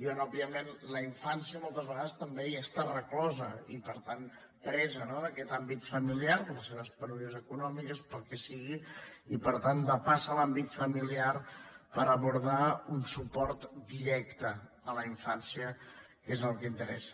i on òbviament la infància moltes vegades també hi està reclosa i per tant presa no d’aquest àmbit familiar per les seves penúries econòmiques pel que sigui i per tant depassa l’àmbit familiar per abordar un suport directe a la infància que és el que interessa